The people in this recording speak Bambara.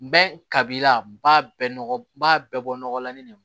Bɛɛ ka b'i la ba bɛɛ nɔgɔ ba bɛɛ bɔ nɔgɔlannen de ma